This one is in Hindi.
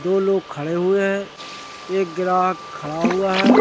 दो लोग खड़े हुए हैं एक ग्राहक खड़ा हुआ है।